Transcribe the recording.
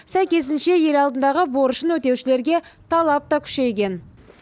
сәйкесінше ел алдындағы борышын өтеушілерге талап та күшейген